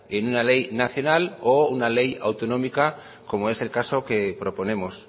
en una ley nacional o una ley autonómica como es el caso que proponemos